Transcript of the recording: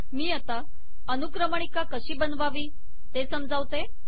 मी आता अनुक्रमणिका कशी बनवावी ते समजावते